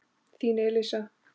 Þín Elísa.